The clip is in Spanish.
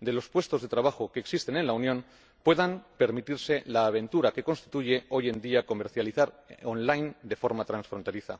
de los puestos de trabajo que existen en la Unión— puedan permitirse la aventura que constituye hoy en día comercializar en línea de forma transfronteriza.